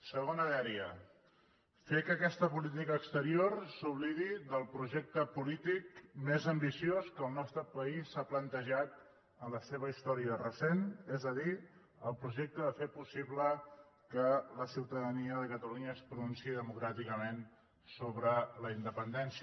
segona dèria fer que aquesta política exterior s’oblidi del projecte polític més ambiciós que el nostre país s’ha plantejat en la seva història recent és a dir el projecte de fer possible que la ciutadania de catalunya es pronunciï democràticament sobre la independència